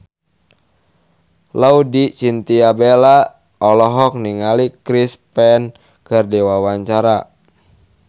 Laudya Chintya Bella olohok ningali Chris Pane keur diwawancara